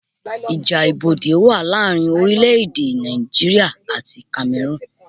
Ìjà ibodè wa láàrin orílẹ̀ èdè Nàìjíríà àti Kamerun